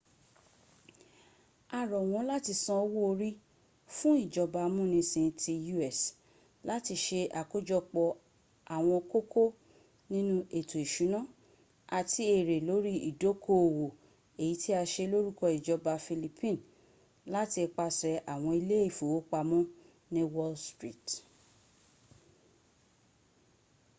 a ro won lati san owo ori fun ijoba amunisin ti u.s. lati se akojopo awon koko ninu eto isuna ati ere lori idokoowo eyi ti a se loruko ijoba philippine lati ipase awon ile ifowopamo ni wall street